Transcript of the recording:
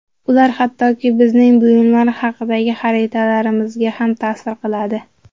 Ular hattoki bizning buyumlar haqidagi xotiralarimizga ham ta’sir qiladi.